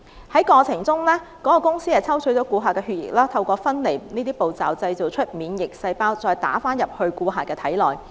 該公司在進行療程的過程中抽取顧客的血液，透過分離步驟製造免疫細胞後，再注射至顧客的體內。